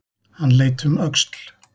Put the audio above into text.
Hann leit um öxl.